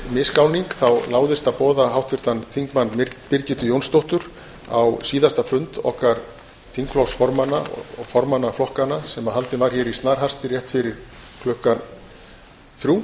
misgáning láðist að boða háttvirtan þingmann birgittu jónsdóttur á síðasta fund okkar þingflokksformanna og formanna flokkanna sem haldinn var hér í snarhasti rétt fyrir klukkan þrjú